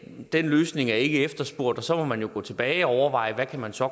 den løsning ikke er efterspurgt og så må man jo gå tilbage og overveje hvad man så